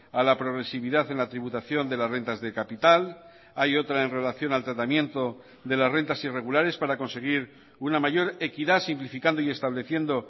a la progresividad en la tributación de las rentas de capital hay otra en relación al tratamiento de las rentas irregulares para conseguir una mayor equidad simplificando y estableciendo